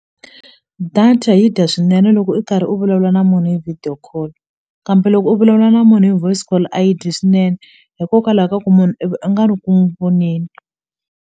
Data yi dya swinene loko i karhi u vulavula na munhu hi video call kambe loko u vulavula na munhu hi voice call a yi dyi swinene hikokwalaho ka ku munhu i va a nga ri ku n'wi voneni.